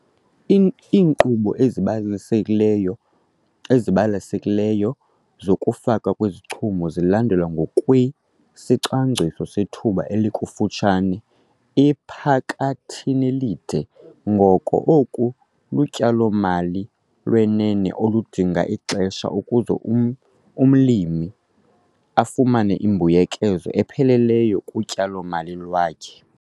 Iinkqubo ezibalasekileyo ezibalasekileyo zokufakwa kwezichumiso zilandelwa ngokwesicwangciso sethuba elifutshane-, ephakathinelide ngoko ke oku lutyalo-mali lwenene oludinga ixesha ukuze umlimi afumane imbuyekezo epheleleyo kutyalo-mali lwakhe.